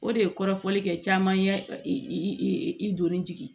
O de ye kɔrɔfɔli kɛ caman ye i donni jigi